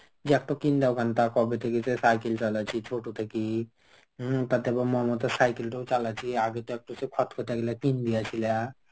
যে একটা কিন দাও কেন তা কবে থেকে সে cycle চালাচ্ছি ছোট থেকে. হম তাতে আবার মমতার cycle টাও চালাচ্ছি. আগে তো একটা খতখটাইলা টিন দিয়েছিলা.